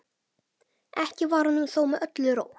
Ekki var honum þó með öllu rótt.